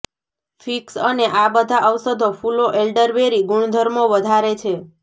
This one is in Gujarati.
ફિક્સ અને આ બધા ઔષધો ફૂલો એલ્ડરબેરી ગુણધર્મો વધારે છે